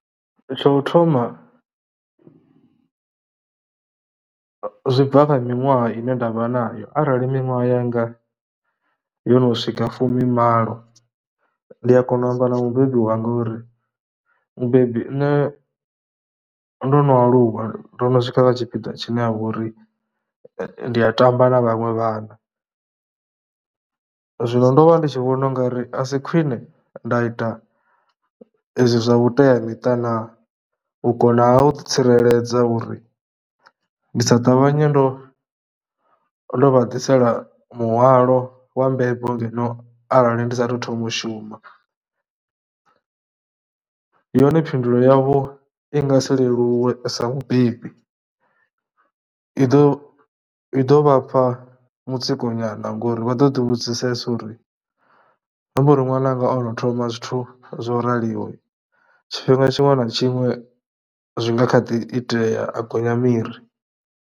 Tsho thoma zwi bva kha miṅwaha ine ndavha nayo arali miṅwaha yanga yo no swika fumimalo, ndi a kona u amba na mubebi wanga uri, mubebi nṋe ndo no aluwa, ndo no swika tshipiḓa tshine ha vha uri ndi a tamba na vhaṅwe vhana. Zwino ndo vha ndi tshi vhona u nga ri a si khwine nda ita hezwi zwa vhuteamiṱa naa, u konaha u ḓitsireledza uri ndi sa ṱavhanye ndo vha ḓisela muhwalo wa mbebo ngeno arali ndi saathu thoma u shuma. Yone phindulo yavho i nga si leluwe sa mubebi, i ḓo i ḓo vha fha mutsiko nyana ngori vha ḓo ḓi vhudzisesa uri zwi amba uri ṅwananga o no thoma zwithu zwo raliho, tshifhinga tshiṅwe na tshiṅwe zwi nga kha ḓi itea a gonya miri.